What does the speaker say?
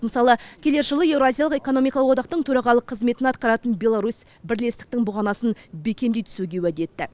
мысалы келер жылы еуразиялық экономикалық одақтың төрағалық қызметін атқаратын беларусь бірлестіктің бұғанасын бекемдей түсуге уәде етті